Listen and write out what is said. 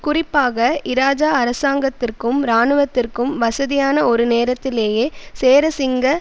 குறிப்பாக இராஜா அரசாங்கத்திற்கும் இராணுவத்திற்கும் வசதியான ஒரு நேரத்திலேயே சேரசிங்க